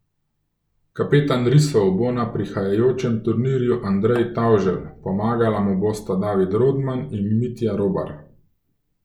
Kapetan risov bo na prihajajočem turnirju Andrej Tavželj, pomagala mu bosta David Rodman in Mitja Robar.